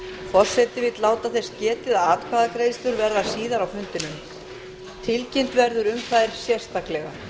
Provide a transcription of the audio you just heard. forseti vill láta þess getið að atkvæðagreiðslur verða síðar á